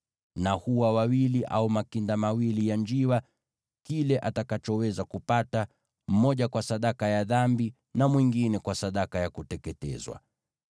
na hua wawili au makinda mawili ya njiwa, kile atakachoweza kupata, mmoja kwa sadaka ya dhambi, na mwingine kwa sadaka ya kuteketezwa.